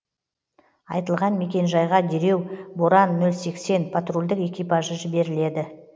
айтылған мекенжайға дереу боран нөл сексен патрульдік экипажы жіберіледі